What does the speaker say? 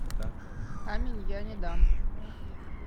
камень я не дам